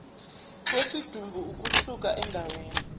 kwesidumbu ukusuka endaweni